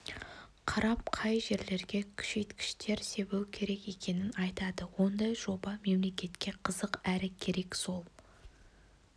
қарап қай жерлерге күшейткіштер себу керек екенін айтады ондай жоба мемлекетке қызық әрі керек сол